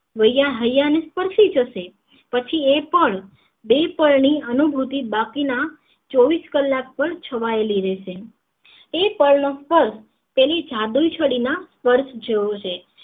વૈયા હૈયા ને સ્પર્શી જશે પછી એ પણ બે પળ ની અનુભૂતિ બાકી ના ચોવીશ કલાક છવાયેલી રહેશે એ પળ નો સ્પર્શ તેની જાદુઈ છડી ના સ્પર્શ જેવો છે